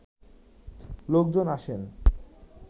লোকজন আসেন